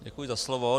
Děkuji za slovo.